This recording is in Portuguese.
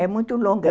É muito longa.